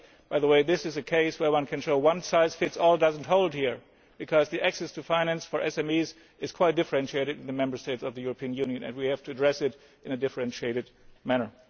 By the way, this is a case where one can show that one size fits all does not hold, because the access to finance for SMEs is quite differentiated in the Member States of the European Union, and we have to address it in a differentiated manner.